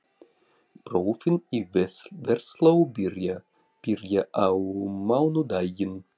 Prófin í Versló byrja á mánudaginn.